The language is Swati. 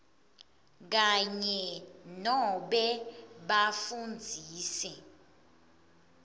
kanye nobe bafundzisi